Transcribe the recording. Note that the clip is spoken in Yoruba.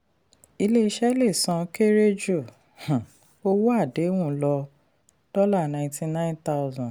ilé-iṣẹ lè san lè san kere ju um owó àdéhùn lọ ninety-nine thousand dollars.